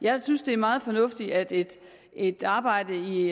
jeg synes det er meget fornuftigt at et et arbejde i